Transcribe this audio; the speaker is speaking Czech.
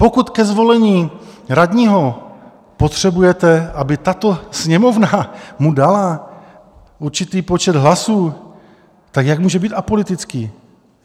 Pokud ke zvolení radního potřebujete, aby tato Sněmovna mu dala určitý počet hlasů, tak jak může být apolitický?